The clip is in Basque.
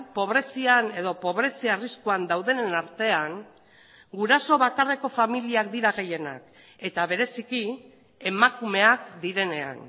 pobrezian edo pobrezi arriskuan daudenen artean guraso bakarreko familiak dira gehienak eta bereziki emakumeak direnean